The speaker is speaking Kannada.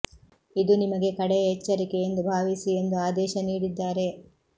ಇದು ನಿಮಗೆ ಕಡೆಯ ಎಚ್ಚರಿಕೆ ಎಂದು ಭಾವಿಸಿ ಎಂದು ಆದೇಶ ನೀಡಿದ್ದಾರೆ